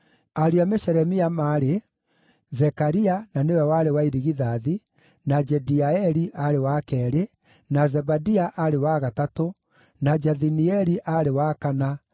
Ariũ a Meshelemia maarĩ: Zekaria, na nĩwe warĩ wa irigithathi, na Jediaeli aarĩ wa keerĩ, na Zebadia aarĩ wa gatatũ, na Jathinieli aarĩ wa kana,